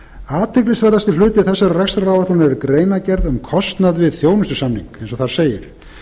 athyglisverðasti hluti þessarar rekstraráætlunar er greinargerð um kostnað við þjónustusamning eins og þar segir